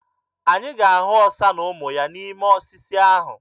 Anyị ga-ahụ ọsa na ụmụ ya n'ime osisi ahụ.